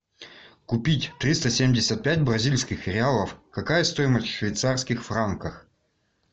купить триста семьдесят пять бразильских реалов какая стоимость в швейцарских франках